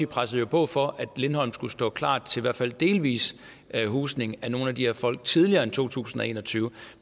pressede på for at lindholm skulle stå klar til i hvert fald delvis husning af nogle af de her folk tidligere end to tusind og en og tyve